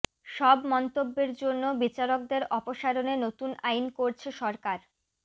সব মন্তব্যের জন্য বিচারকদের অপসারণে নতুন আইন করছে সরকার